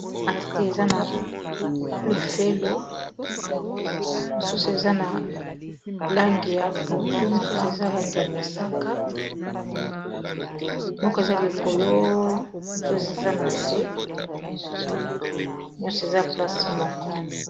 Atite eza na lefelo mosusu eza na langi ya pondu mosusu eza langi ya mosaka moko eza likolo mosusu eza na se nyonso eza place moko.